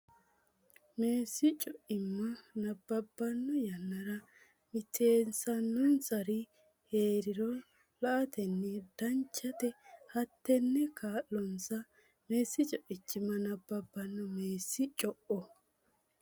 Meessi co imma nabbabbanno yannara mitiinsannonsari hee riro la atenni Danchate hattenne kaa linsa Meessi co imma nabbabbanno Meessi co.